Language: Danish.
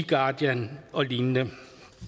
guardian og lignende